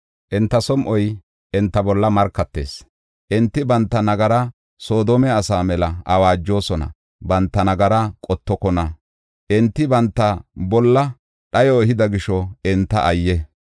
Enta som7oy enta bolla markatees; enti banta nagaraa Soodome asaa mela awaajosona; banta nagaraa qottokona. Enti banta bolla dhayo ehida gisho enta ayye!